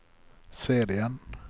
serien